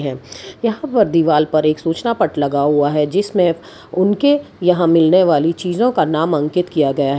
यहां पर दीवार पर एक सूचना पट लगा हुआ है जिसमें उनके यहां मिलने वाली चीजों का नाम अंकित किया गया है।